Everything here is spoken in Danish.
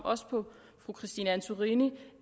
også på fru christine antorini